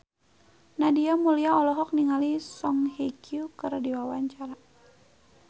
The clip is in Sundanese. Nadia Mulya olohok ningali Song Hye Kyo keur diwawancara